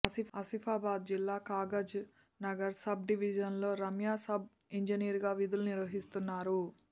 ఆసిఫాబాద్ జిల్లా Kagaznagar sub డివిజన్లో Ramya sub ఇంజనీరుగా విధులు నిర్వహిస్తున్నారు